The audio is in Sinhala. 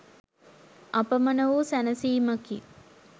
අපමණ වූ සැනසීමකි.